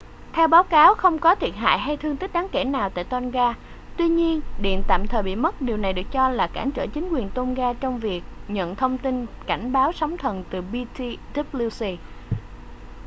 theo báo cáo không có thiệt hại hay thương tích đáng kể nào tại tonga tuy nhiên điện tạm thời bị mất điều này được cho là cản trở chính quyền tongan trong việc nhận thông tin cảnh báo sóng thần từ ptwc